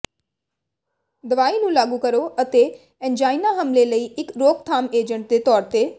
ਦਵਾਈ ਨੂੰ ਲਾਗੂ ਕਰੋ ਅਤੇ ਐਨਜਾਈਨਾ ਹਮਲੇ ਲਈ ਇੱਕ ਰੋਕਥਾਮ ਏਜੰਟ ਦੇ ਤੌਰ ਤੇ